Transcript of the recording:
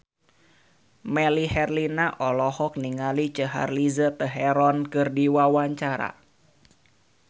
Melly Herlina olohok ningali Charlize Theron keur diwawancara